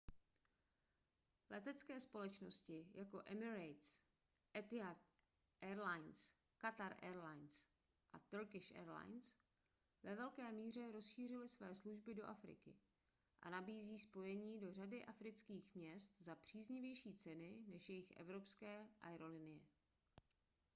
letecké společnosti jako emirates etihad airways qatar airways a turkish airlines ve velké míře rozšířily své služby do afriky a nabízí spojení do řady afrických měst za příznivější ceny než jiné evropské aerolinie